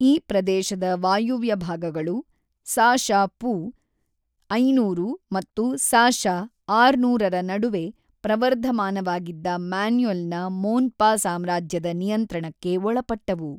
ಈ ಪ್ರದೇಶದ ವಾಯವ್ಯ ಭಾಗಗಳು, ಸಾ.ಶ.ಪೂ. ಐನೂರು ಮತ್ತು ಸಾ.ಶ. ಆರುನೂರರ ನಡುವೆ ಪ್ರವರ್ಧಮಾನವಾಗಿದ್ದ ಮೊನ್ಯುಲ್‌ನ ಮೋನ್ಪಾ ಸಾಮ್ರಾಜ್ಯದ ನಿಯಂತ್ರಣಕ್ಕೆ ಒಳಪಟ್ಟವು.